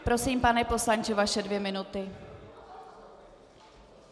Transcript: Prosím, pane poslanče, vaše dvě minuty.